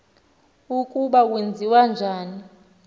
ukuba kwenziwa njani